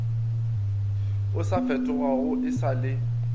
o sa fetogago e sale